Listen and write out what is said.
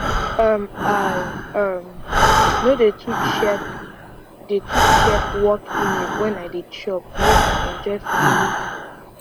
um i um no dey too check dey too check work email wen i dey chop make i enjoy family time